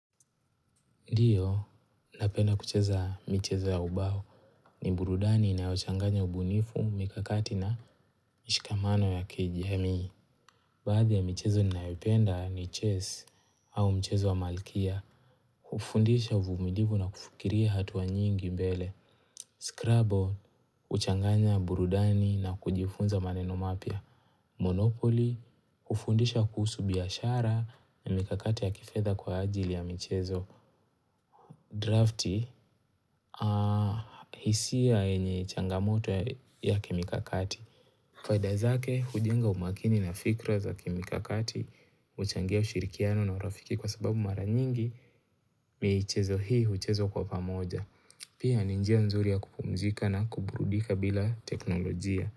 Ndiyo, ninapenda kucheza michezo ya ubao ni burudani inayochanganya ubunifu mikakati na mishikamano ya KGMI. Baadhi ya michezo ninayopenda ni chess au mchezo wa malkia. Hufundisha uvumilivu na kufikiria hatua nyingi mbele. Scrubble, huchanganya burudani na kujifunza maneno mapya. Monopoly, hufundisha kuhusu biashara na mikakati ya kifetha kwa ajili ya michezo. Drafti. Hisia yenye changamoto ya kimikakati Faida zake hujenga umakini na fikra za kimikakati huchangia ushirikiano na urafiki kwa sababu mara nyingi michezo hii huchezwa kwa pamoja Pia ni njia nzuri ya kupumzika na kuburudika bila teknolojia.